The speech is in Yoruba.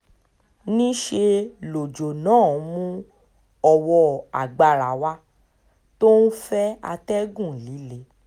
níṣẹ́ lọ́jọ́ náà mú ọwọ́ agbára wá tó ń fẹ́ atẹ́gùn líle